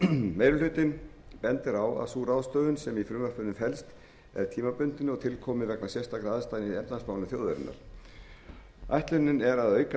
meiri hlutinn bendir á að sú ráðstöfun sem í frumvarpinu felst er tímabundin og til komin vegna sérstakra aðstæðna í efnahagsmálum þjóðarinnar ætlunin er að auka